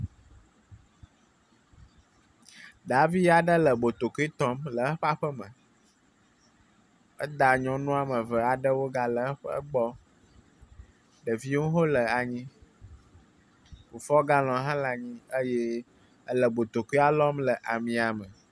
Davi aɖe le botokoe tɔm le eƒe aƒe me eda nyɔnu ame eve aɖe wo ga le eƒe gbɔ ɖeviwo hele anyi. Kufuor galon hã le anyi eye ele botokoe lɔm le amia me.